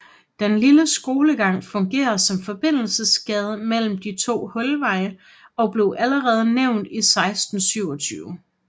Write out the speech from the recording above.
Den lille skolegang fungerer som forbindelsesgade mellem de to Hulveje og blev allerede nævnt i 1627